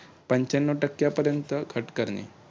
पंच्यानऊ टक्क्यापर्यंत cut करणे.